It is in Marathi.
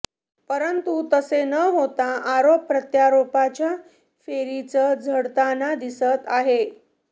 परंतु तसे न होता आरोप प्रत्यारोपांच्या फैरीच झडताना दिसत आहे